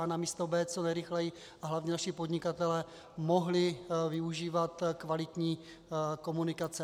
A na místo B co nejrychleji, a hlavně naši podnikatelé, mohli využívat kvalitní komunikace.